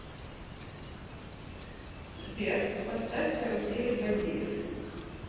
сбер поставь карусели бодиев